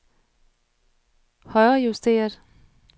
højrejusteret